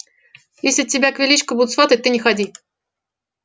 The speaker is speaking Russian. если тебя к величко будут сватать ты не ходи